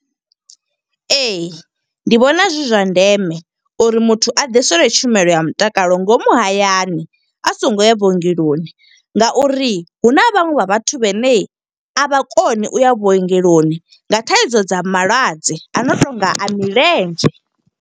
Ee, ndi vhona zwi zwa ndeme uri muthu a ḓiselwe tshumelo ya mutakalo ngomu hayani. A songo ya vhuongeloni nga uri hu na vhaṅwe vha vhathu vhane a vha koni u ya vhuongeloni, nga thaidzo dza malwadze a no tonga a milenzhe.